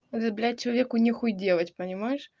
это блять человеку нехуй делать понимаешь